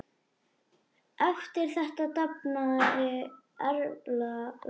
Eftir þetta dafnaði Erla vel.